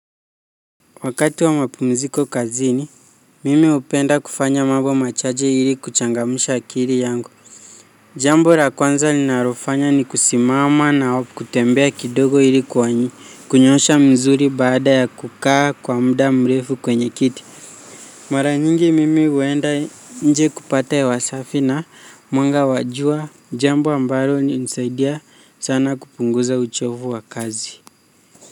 Wakati wa mapumziko kazini mimi hupenda kufanya mambo machache ili kuchangamsha akili yangu jambo la kwanza linalofanya ni kusimama na kutembea kidogo ili kunyoosha msuli baada ya kukaa kwa muda mrefu kwenye kiti mara nyingi mimi huenda nje kupata hewasafi na mwanga wa jua jambo ambalo hunisaidia sana kupunguza uchovu wa kazi. Kwa hivyo.